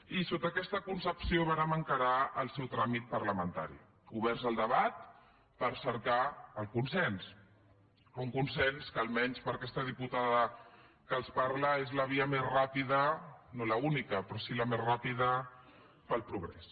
i sota aquesta concepció vàrem encarar el seu tràmit parlamentari oberts al debat per cercar el consens un consens que almenys per a aquesta diputada que els parla és la via més ràpida no l’única però sí la més ràpida per al progrés